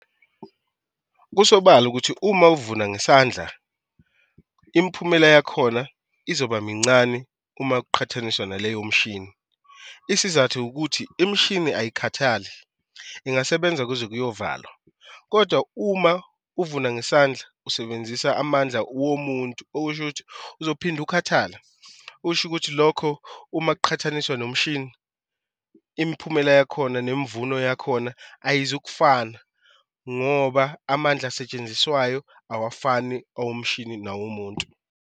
Kusobala ukuthi uma uvuna ngesandla, imiphumela yakhona izoba mincane uma kuqhathaniswa naleyo mshini. Isizathi ukuthi imishini angikhathali ingasebenza kuze kuyovalwa, kodwa uma uvuna ngesandla usebenzisa amandla womuntu, okusho ukuthi uzophinde ukhathale, ukusho ukuthi lokho uma kuqhathaniswa nomshini imiphumela yakhona nemvuno yakhona ayizukufana ngoba amandla asetshenziswayo awafani awomshini nawomuntu.